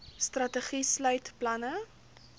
strategie sluit planne